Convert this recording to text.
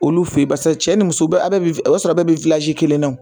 Olu fe yen basa cɛ ni muso aw bɛɛ na